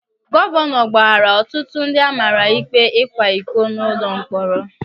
Gọvanọ gbaghaara ọtụtụ ndị amara ikpe ịkwa iko nọ n'ụlọ mkpọrọ.